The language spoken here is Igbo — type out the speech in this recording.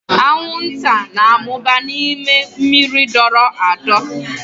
Anwụnta na-amụba n'ime mmiri dọrọ adọ.